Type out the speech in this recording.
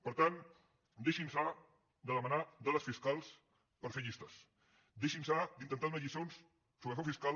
per tant deixin·se de demanar dades fiscals per fer llistes deixin·se d’intentar donar lliçons sobre frau fiscal